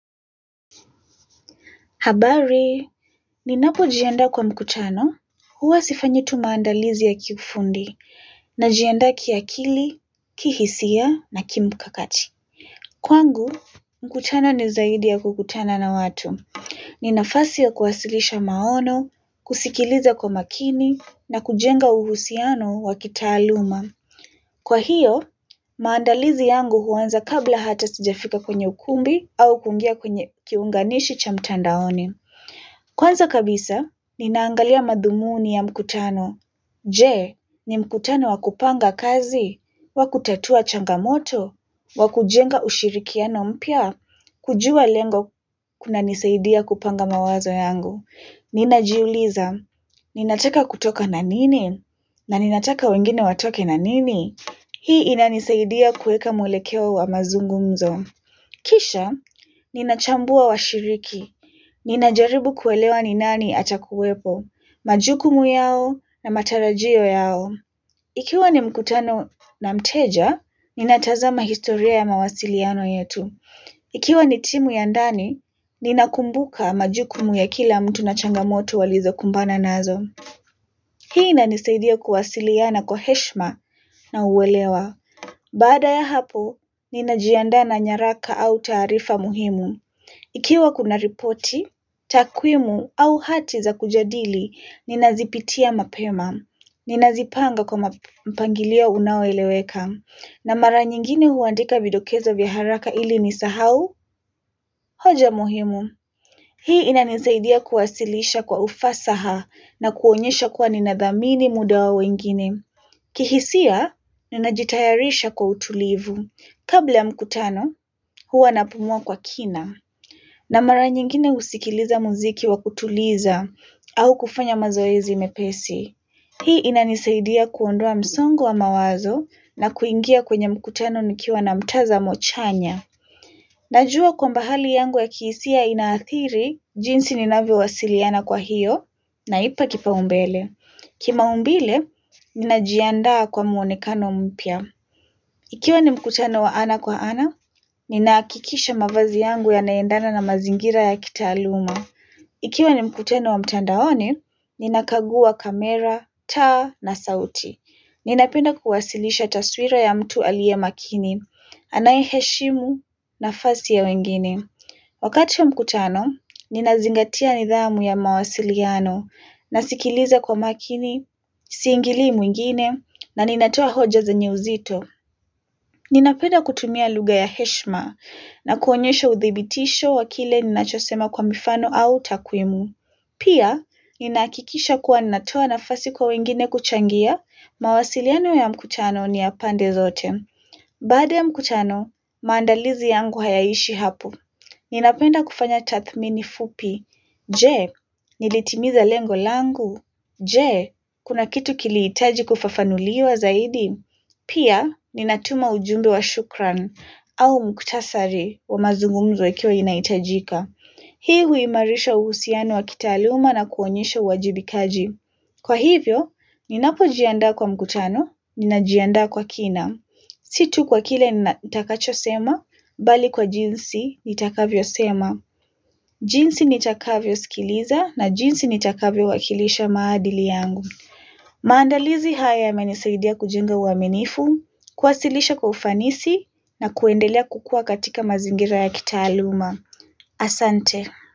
Habari, ninapo jiandaa kwa mkutano, huwa sifanyitu maandalizi ya kiufundi, na jiandaa kiakili, kihisia na kimkakati. Kwangu, mkutano nizaidi ya kukutana na watu. Ninafasi ya kuwasilisha maono, kusikiliza kwa makini, na kujenga uhusiano wa kitaaluma. Kwa hiyo, maandalizi yangu huanza kabla hata sijafika kwenye ukumbi au kuingia kwenye kiunganishi cha mtandaoni. Kwanza kabisa, ninaangalia madhumuni ya mkutano. Je, ni mkutano wakupanga kazi, wakutatua changamoto, wakujenga ushirikiano mpya, kujua lengo kuna nisaidia kupanga mawazo yangu. Ninajiuliza, ninataka kutoka na nini, na ninataka wengine watoke na nini. Hii inanisaidia kuweka mwelekeo wa mazungumzo. Kisha, ninachambua washiriki. Nina jaribu kuelewa ni nani atakuwepo, majukumu yao na matarajio yao. Ikiwa ni mkutano na mteja, ninatazama historia ya mawasiliano yetu. Ikiwa ni timu ya ndani, ninakumbuka majukumu ya kila mtu na changamoto walizo kumbana nazo. Hii ina nisaidia kuwasiliana kwa heshima na uwelewa. Baada ya hapo, ninajiandana nyaraka au taarifa muhimu. Ikiwa kuna ripoti, takwimu au hati za kujadili, ninazipitia mapema, ninazipanga kwa mpangilio unaoeleweka, na mara nyingine huandika vidokezo vya haraka ili nisisahau, hoja muhimu. Hii inanisaidia kuwasilisha kwa ufasa ha na kuonyesha kuwa ninadhamini muda wa wengine. Kihisia, ninajitayarisha kwa utulivu. Kabla ya mkutano, huwa napumua kwa kina. Na mara nyingine husikiliza muziki wa kutuliza au kufanya mazoezi mepesi. Hii inanisaidia kuondoa msongo wa mawazo na kuingia kwenye mkutano nikiwa na mtazamo chanya. Najua kwamba hali yangu ya kihisia inaathiri jinsi ninavyo wasiliana kwa hiyo na ipa kipa umbele. Kima umbile, ninajiandaa kwa muonekano mpya. Ikiwa ni mkutano wa ana kwa ana, ninahakikisha mavazi yangu ya naendana na mazingira ya kitaaluma. Ikiwa ni mkutano wa mtandaoni, ninakagua kamera, taa na sauti. Ninapenda kuwasilisha taswira ya mtu aliye makini, anaye heshimu na fasi ya wengine. Wakati wa mkutano, ninazingatia nidhamu ya mawasiliano, nasikiliza kwa makini, siingili mwingine, na ninatoa hoja ze nye uzito. Ninapenda kutumia lugha ya heshma na kuonyesha uthibitisho wakile ninachosema kwa mifano au takwimu. Pia, ninahakikisha kuwa ninatoa nafasi kwa wengine kuchangia mawasiliano ya mkutano ni ya pande zote. Baada ya mkutano, maandalizi yangu hayaishi hapo. Ninapenda kufanya tathmini fupi. Je, nilitimiza lengo langu. Je, kuna kitu kilihitaji kufafanuliwa zaidi. Pia, ninatuma ujumbe wa shukran au mukhtasari wa mazungumzo ikiwa inahitajika. Hii huimarisha uhusiano wa kitaaluma na kuonyesha uwajibikaji. Kwa hivyo, ninapo jiandaa kwa mkutano, ninajiandaa kwa kina. Situ kwa kile nitakacho sema, bali kwa jinsi nitakavyo sema. Jinsi nitakavyo sikiliza na jinsi nitakavyo wakilisha maadili yangu. Maandalizi haya ya menisaidia kujenga uwaminifu kuwasilisha kwa ufanisi na kuendelea kukua katika mazingira ya kitaaluma. Asante.